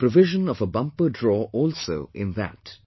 There is a provision of a bumper draw also in that